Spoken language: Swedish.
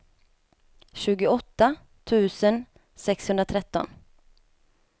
tjugoåtta tusen sexhundratretton